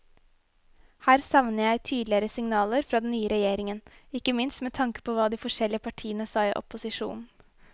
Her savner jeg tydeligere signaler fra den nye regjeringen, ikke minst med tanke på hva de forskjellige partiene sa i opposisjon.